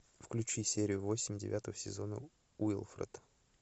включи серию восемь девятого сезона уилфред